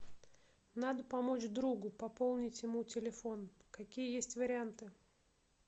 надо помочь другу пополнить ему телефон какие есть варианты